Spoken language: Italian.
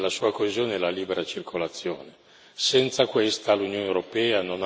Il fondamento dell'Unione europea e della sua coesione è la libera circolazione.